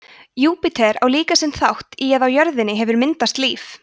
júpíter á líka sinn þátt í að á jörðinni hefur myndast líf